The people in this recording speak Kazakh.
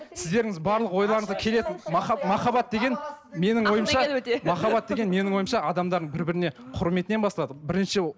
барлығыңыз ойларыңызға келеді махаббат деген менің ойымша махаббат деген менің ойымша адамдардың бір біріне құрметінен басталады бірінші